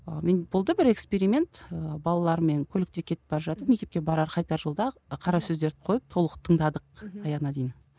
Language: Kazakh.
ы менде болды бір эксперимент ыыы балалармен көлікте кетіп бара жатып мектепке барар қайтар жолда қара сөздерді қойып толық тыңдадық аяғына дейін